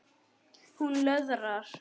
Hún löðrar.